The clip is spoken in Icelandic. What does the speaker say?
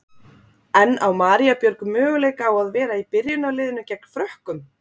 En á María Björg möguleika á að vera í byrjunarliðinu gegn Frökkum?